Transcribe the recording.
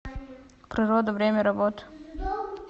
природа время работы